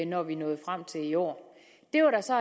når vi nåede frem til i år det var der så